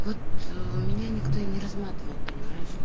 вот у меня никто и не рассматривал понимаешь